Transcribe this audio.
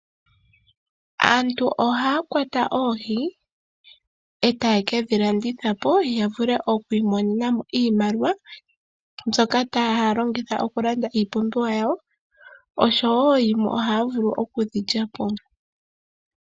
Aantu ohaya kwata oohi, e taye kedhi landithapo, yavule okwiimonena iimaliwa, mbyoka haya longitha okulanda iipumbiwa yawo, oshowo dhimwe ohaya vulu okudhi lyapo.